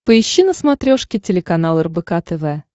поищи на смотрешке телеканал рбк тв